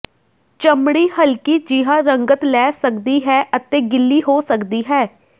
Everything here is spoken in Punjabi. ਚਮੜੀ ਹਲਕੀ ਜਿਹਾ ਰੰਗਤ ਲੈ ਸਕਦੀ ਹੈ ਅਤੇ ਗਿੱਲੀ ਹੋ ਸਕਦੀ ਹੈ